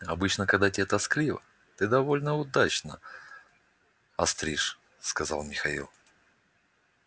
обычно когда те тоскливо ты довольно удачно остришь сказал михаил